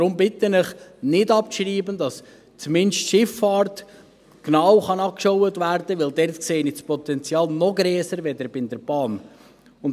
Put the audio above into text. Deshalb bitte ich Sie, nicht abzuschreiben, damit zumindest die Schifffahrt genau angeschaut werden kann, denn dort sehe ich ein noch grösseres Potenzial als bei der Bahn.